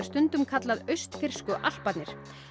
stundum kallað austfirsku Alparnir